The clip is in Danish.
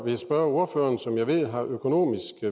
jeg spørge ordføreren som jeg ved har økonomisk